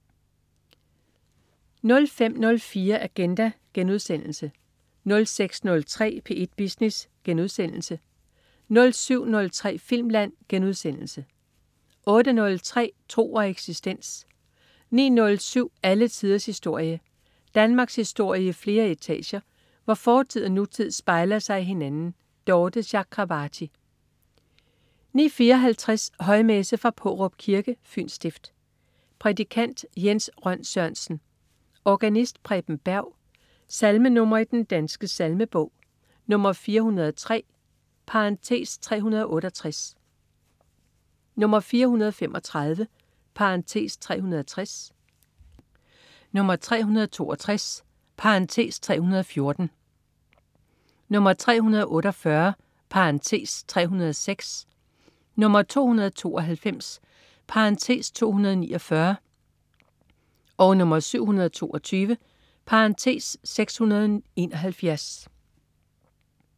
05.04 Agenda* 06.03 P1 Business* 07.03 Filmland* 08.03 Tro og eksistens 09.07 Alle tiders historie. Danmarkshistorie i flere etager, hvor fortid og nutid spejler sig i hinanden. Dorthe Chakravarty 09.54 Højmesse. Fra Paarup Kirke, Fyns stift. Prædikant: Jens Rønn Sørensen. Organist: Preben Berg. Salmenr. i Den Danske Salmebog: 403 (368), 435 (360), 362 (314), 348 (306), 292 (249), 722 (671)